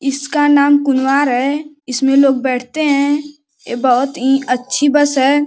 इसका नाम कुनवार है। इसमें लोग बैठते हैं। ए बहोत इं अच्छी बस है।